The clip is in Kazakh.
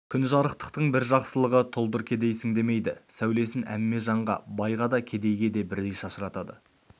күн жарықтықтың бір жақсылығы тұлдыр кедейсің демейді сәулесін әмме жанға байға да кедейге де бірдей шашыратады